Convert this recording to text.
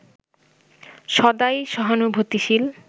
সদাই সহানুভূতিশীল